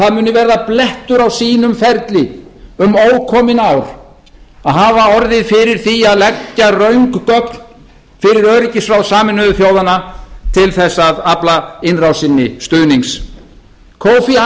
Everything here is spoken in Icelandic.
það muni verða blettur á sínum ferli um ókomin ár að hafa orðið fyrir því að leggja röng gögn fyrir öryggisráð sameinuðu þjóðanna til þess að afla innrásinni stuðnings kofi